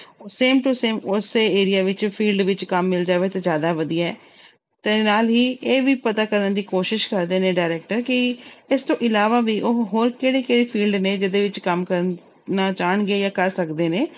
Same to same ਉਸੇ area ਵਿੱਚ field ਵਿੱਚ ਕੰਮ ਮਿਲ ਜਾਵੇ ਤਾਂ ਜ਼ਿਆਦਾ ਵਧੀਆ ਹੈ ਤੇ ਨਾਲ ਹੀ ਇਹ ਵੀ ਪਤਾ ਕਰਨ ਦੀ ਕੋਸ਼ਿਸ਼ ਕਰਦੇ ਨੇ director ਕਿ ਇਸ ਤੋਂ ਇਲਾਵਾ ਵੀ ਉਹ ਹੋਰ ਕਿਹੜੇ ਕਿਹੜੇ field ਨੇ ਜਿਹਦੇ ਵਿੱਚ ਕੰਮ ਕਰਨਾ ਚਾਹੁਣਗੇ ਜਾਂ ਕਰ ਸਕਦੇ ਨੇ,